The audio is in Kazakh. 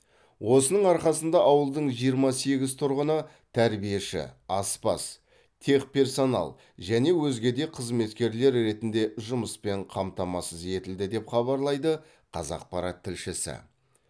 осының арқасында ауылдың жиырма сегіз тұрғыны тәрбиеші аспаз техперсонал және өзге де қызметкерлер ретінде жұмыспен қамтамасыз етілді деп хабарлайды қазақпарат тілшісі